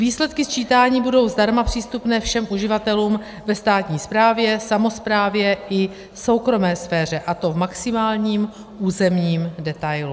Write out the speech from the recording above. Výsledky sčítání budou zdarma přístupné všem uživatelům ve státní správě, samosprávě i soukromé sféře, a to v maximálním územním detailu.